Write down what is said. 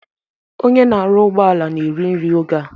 Onye na-arụ ụgbọala na-eri nri oge a